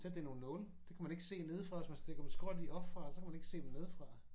Sætte det i nogle nåle. Det kan man ikke se nedefra hvis man stikker dem skråt i oppefra så kan man ikke se dem nedefra